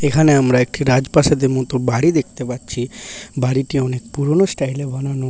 এখানে আমরা একটি রাজপ্রাসাদের মতো বাড়ি দেখতে পাচ্ছি বাড়িটি অনেক পুরনো স্টাইল এ বানানো।